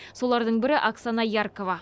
солардың бірі оксана яркова